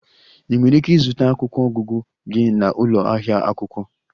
Ị nwere ike ịzụta akwụkwọ ọgụgụ gị na ụlọ ahịa akwụkwọ.